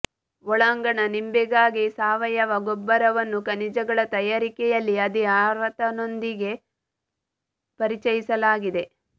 ಒಳಾಂಗಣ ನಿಂಬೆಗಾಗಿ ಸಾವಯವ ಗೊಬ್ಬರವನ್ನು ಖನಿಜಗಳ ತಯಾರಿಕೆಯಲ್ಲಿ ಅದೇ ಆವರ್ತನದೊಂದಿಗೆ ಪರಿಚಯಿಸಲಾಗಿದೆ